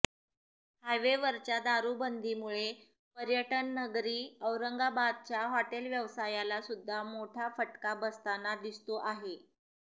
हायवेवरच्या दारूबंदीमुळे पर्यटन नगरी औरंगाबादच्या हॉटेल व्यवसायाला सुद्धा मोठा फटका बसताना दिसतो आहे